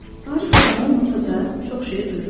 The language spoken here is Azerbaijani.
Arif adam olmasa da, çox şey duyurdu.